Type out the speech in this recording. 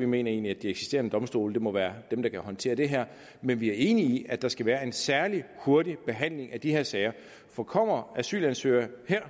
vi mener egentlig at de eksisterende domstole må være dem der kan håndtere det her men vi er enige i at der skal være en særlig hurtig behandling af de her sager for kommer asylansøgere her